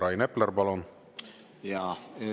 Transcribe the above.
Rain Epler, palun!